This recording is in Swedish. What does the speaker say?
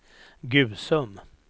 Gusum